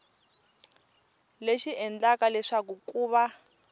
lexi endlaka leswaku ku va